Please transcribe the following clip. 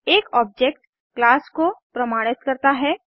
एक object class को प्रमाणित करता है